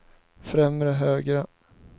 främre högra